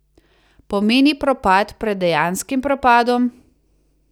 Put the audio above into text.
Pomeni propad pred dejanskim propadom.